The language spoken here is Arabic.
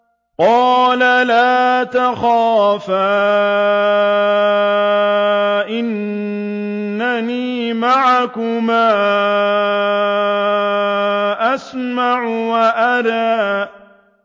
قَالَ لَا تَخَافَا ۖ إِنَّنِي مَعَكُمَا أَسْمَعُ وَأَرَىٰ